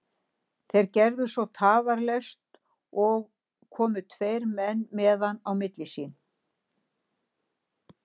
Þeir gerðu svo tafarlaust og komu tveir menn með hann á milli sín.